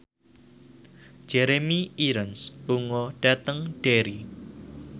Jeremy Irons lunga dhateng Derry